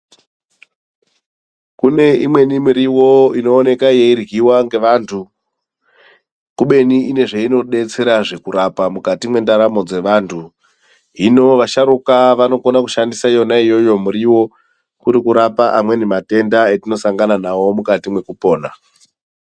Kune imweni miriwo inooneka yeiryiwa ngevantu kubeni ine zveinodetsera kurapa mukati mwendaramo dzevantu. Hino vasharukwa vanokone kushandisa iyoyo miriwo kuri kurapa amweni matenda atinosangana nawo mukati mwekupona.